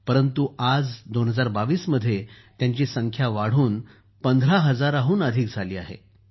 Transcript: परंतु आज २०२२ मध्ये त्यांची संख्या वाढून १५ हजाराहून अधिक झाली आहे